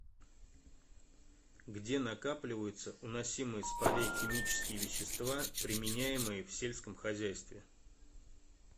где накапливаются уносимые с полей химические вещества применяемые в сельском хозяйстве